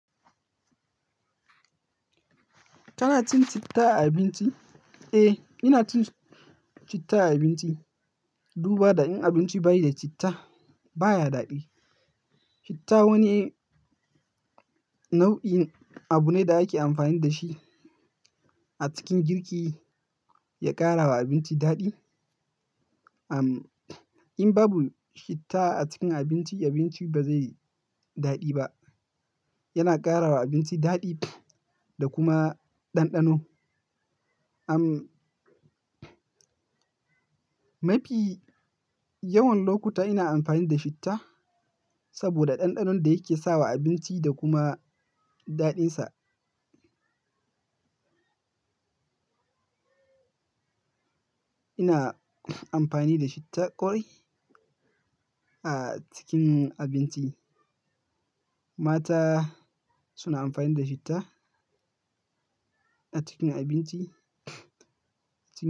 Kana cin citta a abinci? Eh, ina cin citta a abinci. Duba, da in abinci bayi da citta baya daɗi. Citta wani nau'in abu ne da ake amfani da shi a cikin girki ya ƙara wa abinci daɗi. Am, in babu citta a cikin abinci, abinci ba zai yi daɗi ba. Yana ƙara wa abinci daɗi da kuma ɗanɗano. Am, mafi yawan lokuta ina amfani da citta saboda ɗanɗanon da yake sawa abinci da kuma daɗinsa. Ina amfani da citta ƙwarai a cikin abinci. Mata suna amfani da citta a cikin abinci.